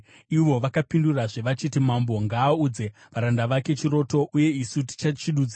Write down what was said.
Ivo vakapindurazve vachiti, “Mambo ngaaudze varanda vake chiroto, uye isu tichachidudzira.”